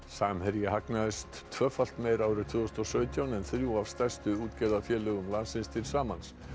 samherji hagnaðist tvöfalt meira árið tvö þúsund og sautján en þrjú af stærstu útgerðarfélögum landsins til samans